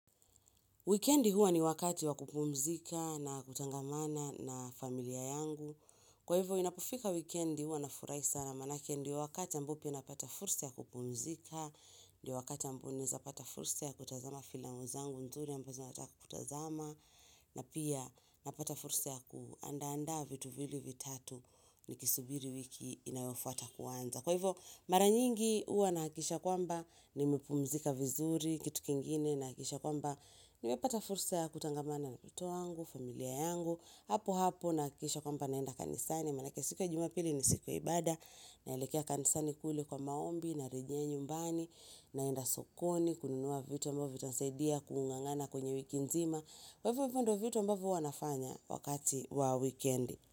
Weekendi huwa ni wakati wakupumzika na kutangamana na familia yangu. Kwa hivyo, inapofika wikendi huwa na furahi sana maanake ndio wakati ambao pia napata fursa ya kupumzika, ndio wakati ambao naeza pata fursa ya kutazama filamu zangu nzuri ambazo nataka kutazama, na pia napata fursa ya kuandaa andaa vitu viwili vitatu niki subiri wiki inayofuata kuanza. Kwa hivyo mara nyingi huwa nahakisha kwamba nimepumzika vizuri kitu kingine nahakisha kwamba nimepata fursa ya kutangamana na mtoto wangu, familia yangu hapo hapo nahakisha kwamba naenda kanisani maanake siku ya jumapili ni siku ya ibada naelekea kanisani kule kwa maombi, narejea nyumbani naenda sokoni, kununua vitu ambavo vitasaidia, kuung'ang'ana kwenye wiki nzima. Kwa hivo ndo vitu ambavo huwa nafanya wakati wa wikendi.